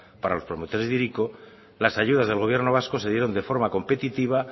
para los promotores de hiriko las ayudas del gobierno vasco se dieron de forma competitiva